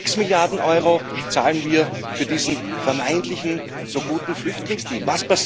Sechs Milliarden Euro zahlen wir für diesen vermeintlich so guten Flüchtlingsdeal.